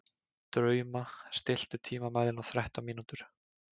Drauma, stilltu tímamælinn á þrettán mínútur.